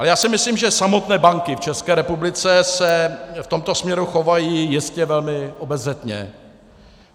Ale já si myslím, že samotné banky v České republice se v tomto směru chovají jistě velmi obezřetně.